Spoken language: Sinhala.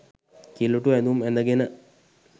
කිළුටු ඇඳුම් ඇඳගෙන.